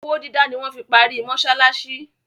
Owó dídá ni wọ́n fi parí mọsálásí.